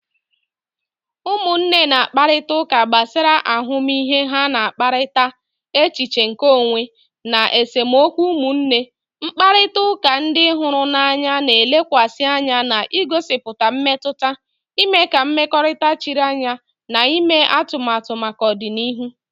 Ụmụnne na-akparịta ụka gbasara ahụmịhe ha na-akpakọrịta, echiche nke onwe, na esemokwu ụmụnne. Mkparịta ụka ndị hụrụ n'anya na-elekwasị anya n'igosipụta mmetụta, ime ka mmekọrịta chiri anya na ime atụmatụ maka ọdịnihu